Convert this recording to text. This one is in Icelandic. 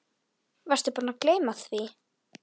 Fyrst Heiða, nú Abba hin.